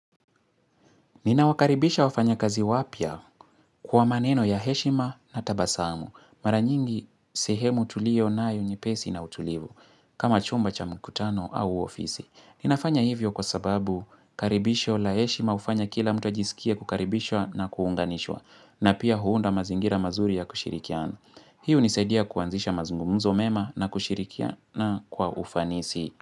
Ninawakaribisha wafanyakazi wapya kwa maneno ya heshima na tabasamu. Mara nyingi sehemu tulionayo nyepesi na utulivu kama chumba cha mkutano au ofisi. Ninafanya hivyo kwa sababu karibisho la heshima ufanya kila mtu ajisikie kukaribishwa na kuunganishwa na pia huunda mazingira mazuri ya kushirikiana. Hii hunisaidia kuanzisha mazungumuzo mema na kushirikiana kwa ufanisi.